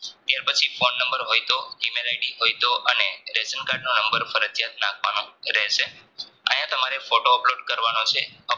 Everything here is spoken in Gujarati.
ત્યાર પછી ફોન નંબર હોય તો Gmail Id હોય તો અને રેશન card નો નંબર ફરજિયાત નાખવાનો રહેશે અહીંયા તમારે photo Upload કરવાનો છે